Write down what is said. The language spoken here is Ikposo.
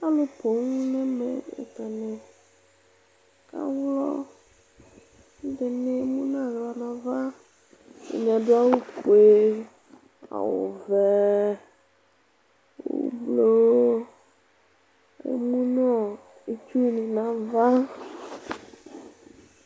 alò poŋ n'ɛmɛ atani ka wlɔ k'ɛdini emu n'ala n'ava atani adu awu fue awu vɛ ublɔ emu no itsu ni n'ava.